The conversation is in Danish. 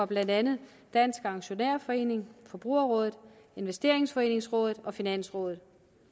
blandt andet dansk aktionærforening forbrugerrådet investeringsforeningsrådet og finansrådet